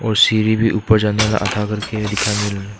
सीढ़ी भी ऊपर जाने वाला आधा करके दिखाई मिल रहा--